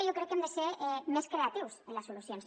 jo crec que hem de ser més creatius en les solucions